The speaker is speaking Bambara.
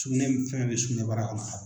Sugunɛ fɛn fɛn bɛ sugunɛbara kɔnɔ